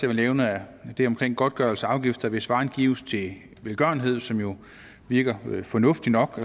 vil nævne er det omkring godtgørelse af afgifter hvis varer gives til velgørenhed som jo virker fornuftigt nok